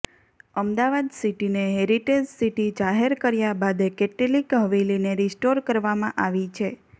અમદાવાદ સિટીને heritage city જાહેર કર્યા થયા બાદ કેટલીક હવેલીને રિસ્ટોર કરવામાં આવી છે